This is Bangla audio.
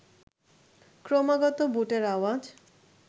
ক্রমাগত বুটের আওয়াজ